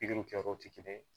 pigiri kɛ yɔrɔ te kelen ye